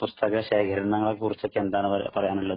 പുസ്തക ശേഖരണങ്ങളെ കുറിച്ചൊക്കെ എന്താണ് പറയാ പറയാനുള്ളത്?